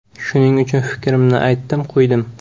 Shuning uchun fikrimni aytdim-qo‘ydim.